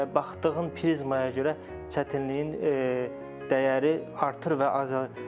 Baxdığın prizmaya görə çətinliyin dəyəri artır və azalır.